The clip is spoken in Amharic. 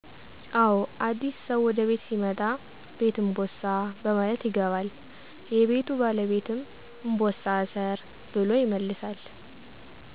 አዎ አዲስ ሰው ወደ ቤት ሲመጣ ''ቤት እንቦሳ '' በማለት ይገባል። የቤቱ ባለቤትም ''እንቦሳ እሰር '' ብሎ ይመልሳል